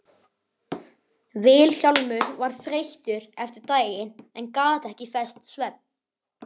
Vilhjálmur var þreyttur eftir daginn en gat ekki fest svefn.